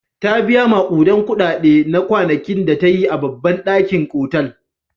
Ta biya maƙudan kuɗaɗe na kwanakin da ta yi a babban ɗakin otal.